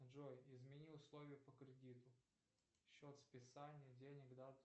джой измени условия по кредиту счет списания денег дату